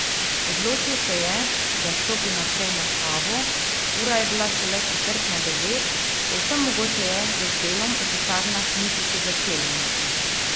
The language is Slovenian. Odločil se je, da stopi najprej na kavo, ura je bila šele četrt na devet, povsem mogoče je, da z delom v pisarnah niti še začeli niso.